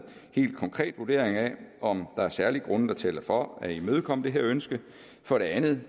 helt konkret vurdering af om der er særlige grunde der taler for at imødekomme det her ønske for det andet